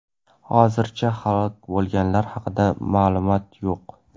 Hozircha halok bo‘lganlar haqida ma’lumoq yo‘q.